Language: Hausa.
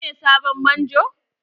Shine sabon Manjo?